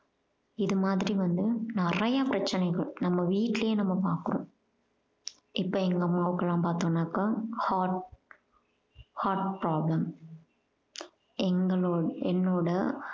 இது மாதிரி வந்து நிறைய பிரச்சனைங்க நம்ம வீட்டிலேயே நம்ம பார்க்கிறோம் இப்ப எங்க அம்மாவுக்குலாம் பார்த்தோம்னாக்க heart heart problem எங்களோட~ என்னோட